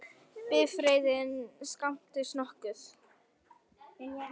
Bifreiðin skemmdist nokkuð